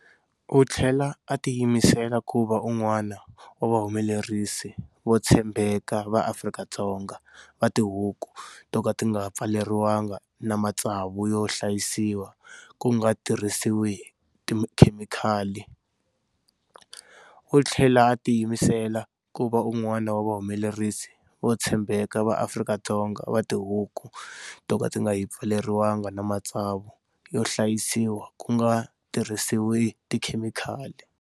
U tlhela a tiyimisela ku va un'wana wa vahumelerisi vo tshembeka va Afrika-Dzonga va tihuku to ka ti nga pfaleriwanga na matsavu yo hlayisiwa ku nga tirhisiwi tikhemikali. U tlhela a tiyimisela ku va un'wana wa vahumelerisi vo tshembeka va Afrika-Dzonga va tihuku to ka ti nga pfaleriwanga na matsavu yo hlayisiwa ku nga tirhisiwi tikhemikali.